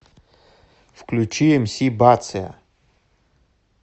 включи мс бация